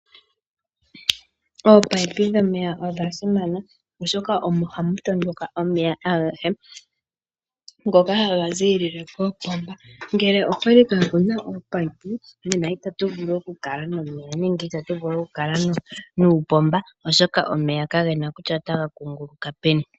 Ominino dhomeya odha simana, oshoka omo hamu tondoka omeya agehe, ngoka haga ziilile kopomba, ngele okwali kaa ku na ominino, nena itatu vulu okukala nomeya nenge uupomba, oshoka kapu na kutya omeya otaga kungulukile peni.